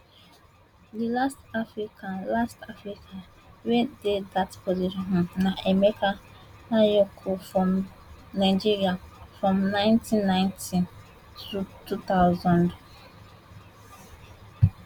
di last african last african wey dey dat position um na emeka anyaoku from nigeria from 1990 2000